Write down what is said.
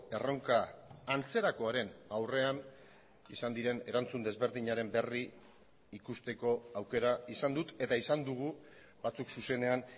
erronka antzerakoaren aurrean izan diren erantzun desberdinaren berri ikusteko aukera izan dut eta izan dugu batzuk zuzenean